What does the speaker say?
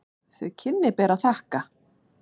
Þau kynni ber að þakka.